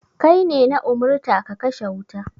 Kai ne na umurta ka kashe wuta.